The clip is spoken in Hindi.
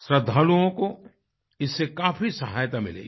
श्रद्धालुओं को इससे काफी सहायता मिलेगी